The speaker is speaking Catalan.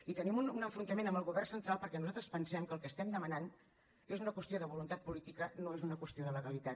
i tenim un enfrontament amb el govern central perquè nosaltres pensem que el que estem demanant és una qüestió de voluntat política no és una qüestió de legalitat